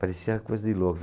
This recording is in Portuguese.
Parecia coisa de louco.